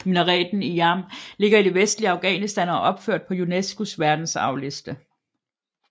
Minareten i Jam ligger i det vestlige Afghanistan og er opført på UNESCOs verdensarvsliste